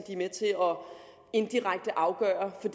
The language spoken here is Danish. indirekte at afgøre for